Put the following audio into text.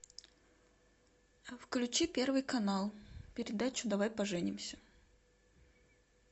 включи первый канал передачу давай поженимся